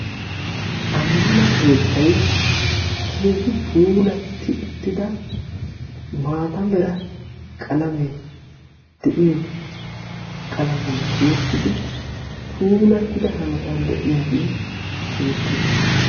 ammano keettay keehi puulatti uttida maata mera qalamee de'iyo qalamiyan tiyettidi puulattida hanotan de'iyage beettes.